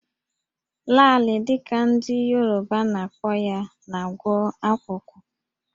Laalị dị ka ndị Yoruba na-akpọ ya na-agwọ akwụkwụ